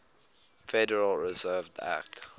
federal reserve act